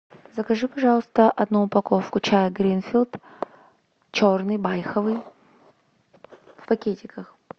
закажи пожалуйста одну упаковку чая гринфилд черный байховый в пакетиках